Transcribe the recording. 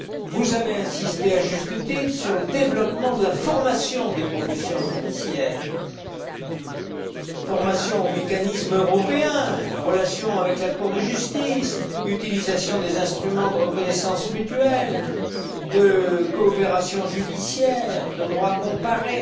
Vous avez insisté à juste titre sur le développement de la formation des professions judiciaires, de la formation aux mécanismes européens, des relations avec la Cour de justice, de l'utilisation des instruments de reconnaissance mutuelle, de la coopération judiciaire, du droit comparé.